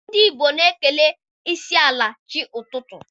Ndị Igbo na-ekele ịsaala chi n'ụtụtụ.